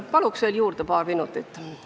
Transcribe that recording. Paluks juurde paar minutit!